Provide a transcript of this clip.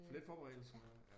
For lidt forberedelse?